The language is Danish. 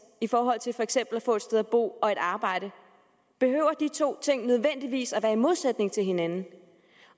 i forhold til for eksempel at få et sted at bo og et arbejde behøver de to ting nødvendigvis at være i modsætning til hinanden